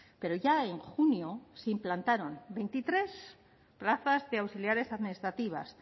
pero ya en junio se implantaron veintitrés plazas de auxiliares administrativas